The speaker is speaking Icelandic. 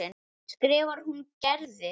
skrifar hún Gerði.